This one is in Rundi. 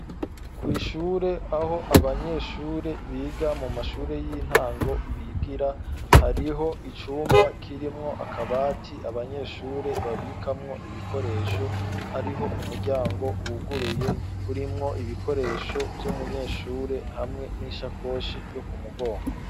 Kw' ishure aho Abanyeshure biga mu mashure y'intango, bigira ,hariho icumba kirimwo akabati abanyeshure babikamwo ibikoresho, hariho umuryango wuguruye urimwo ibikoresho vy'umunyeshure, hamwe n'ishakoshi yo ku mugongo.